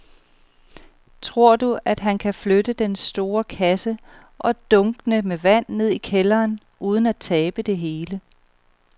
Tror du, at han kan flytte den store kasse og dunkene med vand ned i kælderen uden at tabe det hele?